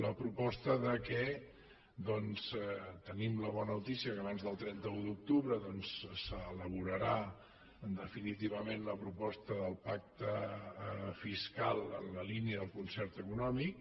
la proposta que tenim la bona notícia que abans del trenta un d’octubre s’elaborarà definitivament la proposta del pacte fiscal en la línia del concert econòmic